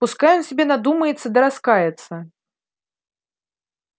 пускай он себе надумается да раскается